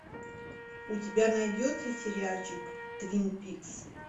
у тебя найдется сериальчик твин пикс